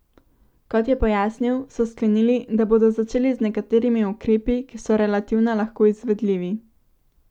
Kot je pojasnil, so sklenili, da bodo začeli z nekaterimi ukrepi, ki so relativno lahko izvedljivi.